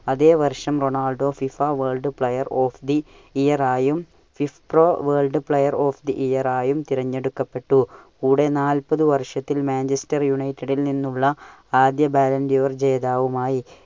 അതെ വർഷം Ronaldo FIFA World Player of the Year ആയും, Player of the Year ആയും തിരഞ്ഞെടുക്കപ്പെട്ടു. കൂടെ നാല്പതു വർഷത്തിൽ Manchester United ൽ നിന്നുള്ള ആദ്യ ബാലെന്റിയുർ ജേതാവുമായി.